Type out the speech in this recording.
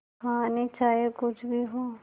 कहानी चाहे कुछ भी हो